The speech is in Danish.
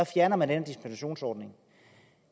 fjerner man den dispensationsordning